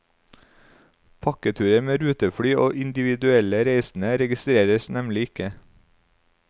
Pakketurer med rutefly og individuelle reisende registreres nemlig ikke.